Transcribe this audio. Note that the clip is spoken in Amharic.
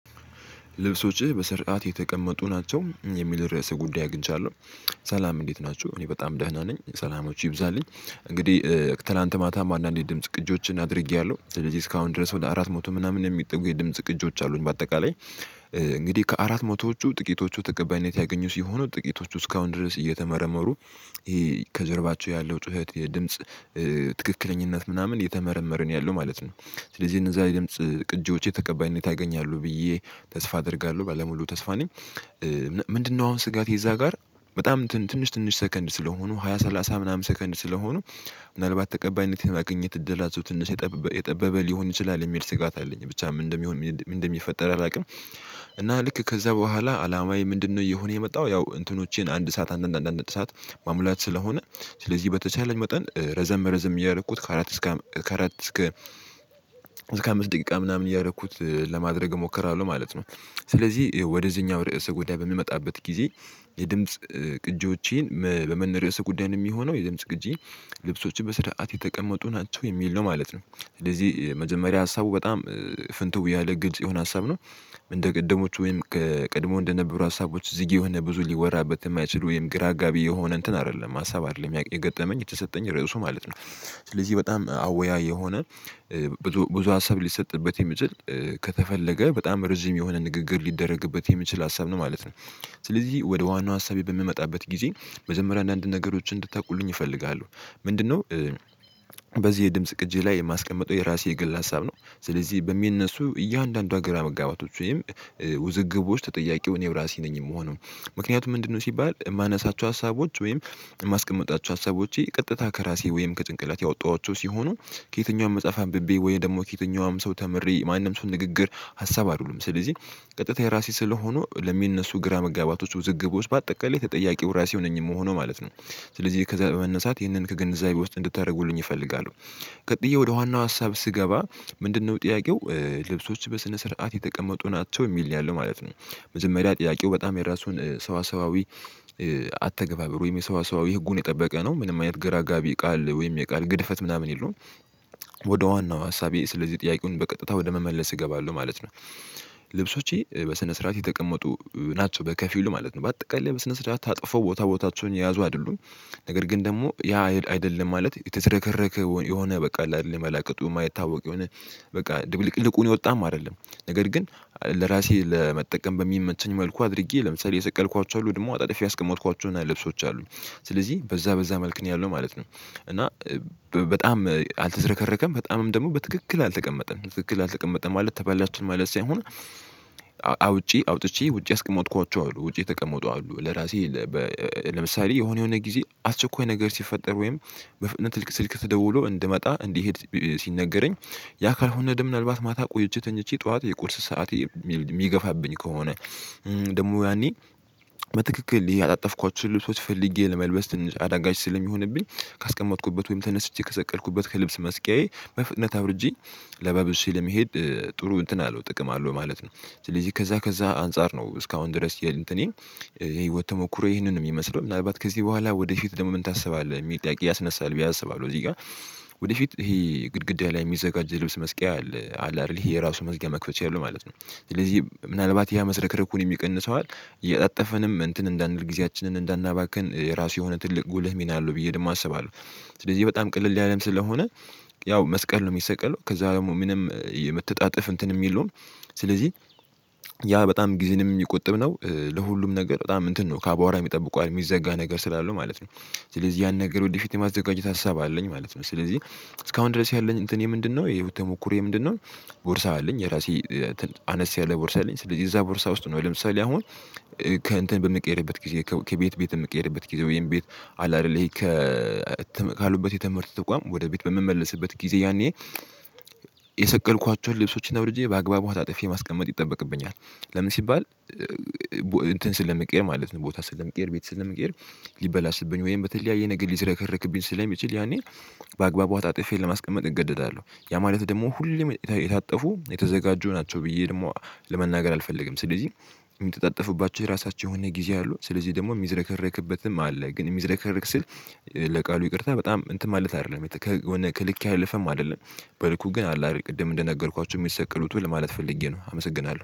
ልብሶችህ በስርዓት የተቀመጡ ናቸው? የሚል ርዕሰ ጉዳይ አግኝቻለሁ። ሰላም እንዴት ናችሁ። እኔ በጣም ደህና ነኝ። ሰላማቹ ይብዛልኝ። እንግዲህ ትላንት ማታ አንዳንድ ድምጽ ቅጂዎችን አድርጌያለሁ። ስለዚህ እስካሁን ድረስ ወደ አራት መቶ ምናምን የሚጠጉ የድምጽ ቅጂዎች አሉኝ በአጠቃላይ። እንግዲህ ከአራት መቶዎቹ ጥቂቶቹ ተቀባይነት ያገኙት ሲሆኑ ጥቂቶቹ እስካሁን ድረስ እየተመረመሩ ይሄ ከጀርባቸው ያለው ጩኸት የድምጽ ትክክለኛነት ምናምን እየተመረመረ ነው ያለው ማለት ነው። ስለዚህ እነዛ የድምጽ ቅጂዎቼ ተቀባይነት ያገኛሉ ብዬ ተስፋ አደርጋለሁ። ባለሙሉ ተስፋ ነኝ። ምንድነው አሁን ስጋቴ እዛ ጋር በጣም ትንሽ ትንሽ ሰከንድ ስለሆኑ ሃያ ሰላሳ ምናምን ሰከንድ ስለሆኑ ምናልባት ተቀባይነት የማግኘት እድላቸው ትንሽ የጠበበ ሊሆን ይችላል የሚል ስጋት አለኝ። ብቻ ምን እንደሚሆን ምን እንደሚፈጠር አላውቅም። እና ልክ ከዛ በኋላ አላማዬ ምንድነው እየሆነ የመጣው ያው እንትኖቼን አንድ ሰዓት አንድ አንድ አንድ አንድ ሰዓት ማሙላት ስለሆነ ስለዚህ በተቻለኝ መጠን ረዘም ረዘም እያረኩት ከአራት እስከ ከአራት እስከ ከአምስት ደቂቃ ምናምን እያደረኩት ለማድረግ እሞክራለሁ ማለት ነው። ስለዚህ ወደዚህኛው ርዕስ ጉዳይ በምመጣበት ጊዜ የድምጽ ቅጂዎችን በምን ርዕሰ ጉዳይ የሚሆነው የድምጽ ቅጂ ልብሶችህ በስርዓት የተቀመጡ ናቸው? የሚል ነው ማለት ነው። ስለዚህ መጀመሪያ ሀሳቡ በጣም ፍንትው ያለ ግልጽ የሆነ ሀሳብ ነው። እንደ ቅድሞቹ ወይም ከቀድሞ እንደነበሩ ሀሳቦች ዝግ የሆነ ብዙ ሊወራበት የማይችል ወይም ግራ አጋቢ የሆነ እንትን አይደለም ሀሳብ አይደለም የገጠመኝ የተሰጠኝ ርዕሱ ማለት ነው። ስለዚህ በጣም አወያይ የሆነ ብዙ ብዙ ሀሳብ ሊሰጥበት የሚችል ከተፈለገ በጣም ረዥም የሆነ ንግግር ሊደረግበት የሚችል ሀሳብ ነው። ማለት ነው። ስለዚህ ወደ ዋናው ሀሳቤ በምመጣበት ጊዜ መጀመሪያ አንዳንድ ነገሮችን እንድታውቁልኝ እፈልጋለሁ። ምንድነው በዚህ የድምጽ ቅጂ ላይ የማስቀምጠው የራሴ የግል ሀሳብ ነው። ስለዚህ በሚነሱ እያንዳንዷ ግራ መጋባቶች ወይም ውዝግቦች ተጠያቂ እኔው ራሴ ነኝ የምሆነው። ምክንያቱም ምንድነው ሲባል የማነሳቸው ሀሳቦች ወይም የማስቀምጣቸው ሀሳቦቼ ቀጥታ ከራሴ ወይም ከጭንቅላቴ ያወጣኋቸው ሲሆኑ ከየትኛውም መጽሐፍ አንብቤ ወይም ደግሞ ከየትኛውም ሰው ተምሬ ማንም ሰው ንግግር ሀሳብ አይደሉም። ስለዚህ ቀጥታ የራሴ ስለሆኑ ለሚነሱ ግራ መጋባቶች ውዝግቦች በአጠቃላይ ተጠያቂው ራሴው ነኝ የምሆነው ማለት ነው። ስለዚህ ከዛ በመነሳት ይህንን ከግንዛአቤ ውስጥ እንድታደርጉልኝ እፈልጋለሁ። ቀጥዬ ወደ ዋናው ሀሳብ ስገባ ምንድነው ጥያቄው ልብሶች በስነ ስርዓት የተቀመጡ ናቸው? የሚል ነው ያለው ማለት ነው። መጀመሪያ ጥያቄው በጣም የራሱን ሰዋሰዋዊ አተገባበሩ ወይም የሰዋሰዋዊ ህጉን የጠበቀ ነው። ምንም አይነት ግራ አጋቢ ቃል ወይም የቃል ግድፈት ምናምን የለውም። ወደ ዋናው ሀሳቤ ስለዚህ ጥያቄውን በቀጥታ ወደ መመለስ እገባለሁ ማለት ነው። ልብሶቼ በስነ ስርዓት የተቀመጡ ናቸው። በከፊሉ ማለት ነው። በአጠቃላይ በስነ ስርዓት ታጥፎ ቦታ ቦታቸውን የያዙ አይደሉም። ነገር ግን ደግሞ ያ አይደለም ማለት የተዝረከረከ የሆነ በቃ አለ አይደለ መላቅጡ ያማይታወቅ የሆነ በቃ ድብልቅልቁን የወጣም አይደለም። ነገር ግን ለራሴ ለመጠቀም በሚመቸኝ መልኩ አድርጌ ለምሳሌ የሰቀልኳቸው አሉ፤ ደግሞ አጣጥፌ ያስቀመጥኳቸውን ልብሶች አሉ። ስለዚህ በዛ በዛ መልክ ነው ያለው ማለት ነው። እና በጣም አልተዝረከረከም በጣምም ደግሞ በትክክል አልተቀመጠም። ትክክል አልተቀመጠም ማለት ተበላሸ ማለት ሳይሆን አውጪ አውጥቼ ውጪ ያስቀመጥኳቸው አሉ ውጪ የተቀመጡ አሉ። ለራሴ ለምሳሌ የሆነ የሆነ ጊዜ አስቸኳይ ነገር ሲፈጠር ወይም ስልክ ተደውሎ እንድመጣ እንዲሄድ ሲነገረኝ ያ ካልሆነ ደግሞ ምናልባት ማታ ቆየቼ ተኝቼ ጠዋት የቁርስ ሰዓት የሚገፋብኝ ከሆነ ደግሞ ያኔ በትክክል ያጣጠፍኳቸውን ልብሶች ፈልጌ ለመልበስ ትንሽ አዳጋች ስለሚሆንብኝ ካስቀመጥኩበት ወይም ተነስቼ ከሰቀልኩበት ከልብስ መስቀያዬ በፍጥነት አውርጄ ለባብሼ ለመሄድ ጥሩ እንትን አለው ጥቅም አለው ማለት ነው። ስለዚህ ከዛ ከዛ አንፃር ነው እስካሁን ድረስ የእንትኔን ህይወት ተሞክሮ ይሄንን ነው የሚመስለው። ምናልባት ከዚህ በኋላ ወደፊት ደግሞ ምን ታስባለህ የሚል ጥያቄ ያስነሳል ብዬ አስባለሁ እዚህ ጋር። ወደፊት ይሄ ግድግዳ ላይ የሚዘጋጅ ልብስ መስቀያ አለ አይደል የራሱ መዝጊያ መክፈቻ ያለው ማለት ነው። ስለዚህ ምናልባት ያ መዝረክርኩንም ይቀንሰዋል እያጣጠፍንም እንትን እንዳንል ጊዜያችንን እንዳናባክን ራሱ የሆነ ትልቅ ጉልህ ሚና አለው ብዬ ደግሞ አስባለሁ። ስለዚህ በጣም ቅለል ያለም ስለሆነ ያው መስቀል ነው የሚሰቀለው ከዛ ደግሞ ምንም የመተጣጠፍ እንትንም የለውም። ስለዚህ ያ በጣም ጊዜንም የሚቆጥብ ነው። ለሁሉም ነገር በጣም እንትን ነው። ካቧራም ይጠብቀዋል የሚዘጋ ነገር ስላለው ማለት ነው። ስለዚህ ያን ነገር ወደፊት የማዘጋጀት ሀሳብ አለኝ ማለት ነው። ስለዚህ እስካሁን ድረስ ያለኝ እንትኔ ምንድነው የህይወት ተሞክሮዬ ምንድነው ቦርሳ አለኝ። የራሴ አነስ ያለ ቦርሳ አለኝ። ስለዚህ እዛ ቦርሳ ውስጥ ነው ለምሳሌ አሁን ከእንትን በምቀየርበት ጊዜ ከቤት ቤት የምቀየርበት ጊዜ ወይም ቤት አለ አይደል ከ ካሉበት የትምህርት ተቋም ወደ ቤት በምመለስበት ጊዜ ያኔ የሰቀልኳቸውን ልብሶችን አውርጄ በአግባቡ አጣጥፌ ማስቀመጥ ይጠበቅብኛል። ለምን ሲባል እንትን ስለሚቀይር ማለት ነው። ቦታ ስለምቀይር ቤት ስለምቀይር ሊበላሽብኝ ወይም በተለያየ ነገር ሊዝረከርክብኝ ስለሚችል ያኔ በአግባቡ አጣጥፌ ለማስቀመጥ እገደዳለሁ። ያ ማለት ደግሞ ሁሌም የታጠፉ የተዘጋጁ ናቸው ብዬ ደግሞ ለመናገር አልፈልግም። ስለዚህ የሚተጣጥፉባቸው የራሳቸው የሆነ ጊዜ አሉ። ስለዚህ ደግሞ የሚዝረከረክበትም አለ። ግን የሚዝረከረክ ስል ለቃሉ ይቅርታ በጣም እንትን ማለት አይደለም። ከልክ ያለፈም አይደለም። በልኩ ግን አለ አይደል ቅድም እንደነገርኳችሁ የሚሰቅሉትን ለማለት ፈልጌ ነው። አመሰግናለሁ።